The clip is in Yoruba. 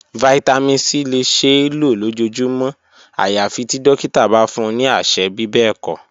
Vitamin c le ṣee lo lojoojumọ ayafi ti dokita ba fun ni aṣẹ bibẹẹkọ.